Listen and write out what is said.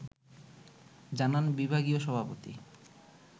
জানান বিভাগীয় সভাপতি